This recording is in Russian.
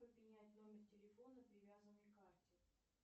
как поменять номер телефона привязанной к карте